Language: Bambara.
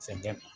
Fɛn gɛ